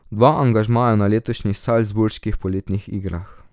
Dva angažmaja na letošnjih Salzburških poletnih igrah.